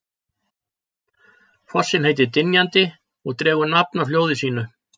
Fossinn heitir Dynjandi og dregur nafn af hljóði sínu.